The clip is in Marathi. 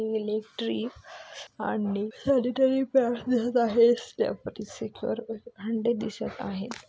इलेक्ट्री आणि सॅनिटरी पॅडस दिसत आहे अंडे दिसत आहे.